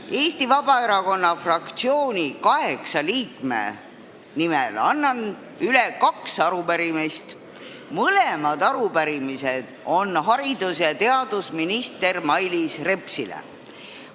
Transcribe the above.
Annan Eesti Vabaerakonna fraktsiooni kaheksa liikme nimel üle kaks arupärimist haridus- ja teadusminister Mailis Repsile.